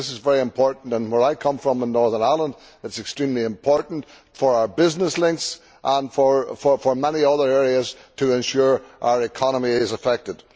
I think this is very important, and where I come from in Northern Ireland it is extremely important for our business links and for many other areas to ensure our economy is effective.